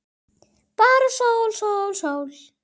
Bara sól, sól, sól.